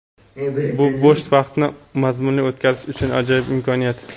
Bu bo‘sh vaqtni mazmunli o‘tkazish uchun ajoyib imkoniyat!.